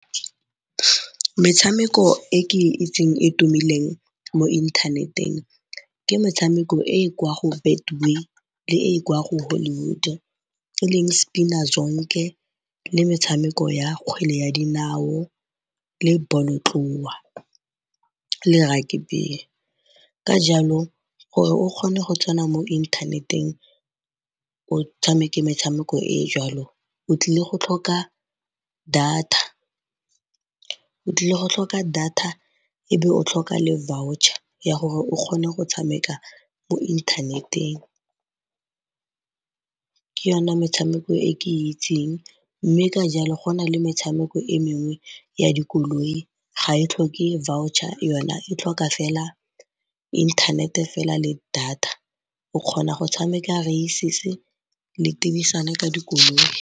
Metshameko e ke itseng e tumileng mo inthaneteng ke metshameko e e kwa go Betway le e e kwa go Hollywood e leng Spina Zonke le metshameko ya kgwele ya dinao le bolotloa le rugby. Ka jalo gore o kgone go tsena mo inthaneteng o tshameke metshameko e e jalo o tlile go tlhoka data e be o tlhoka le voucher ya gore o kgone go tshameka mo inthaneteng. Ke yona metshameko e ke itseng mme ka jalo go na le metshameko e mengwe ya dikoloi ga e tlhoke voucher yona e tlhoka fela inthanete fela le data o kgona go tshameka races le tibisana ka dikoloi.